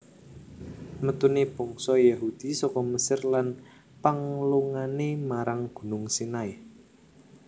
Metune bangsa Yahudi saka Mesir lan panglungane marang Gunung Sinai